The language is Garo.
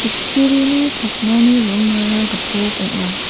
kutturini pakmani rongara gipok ong·a.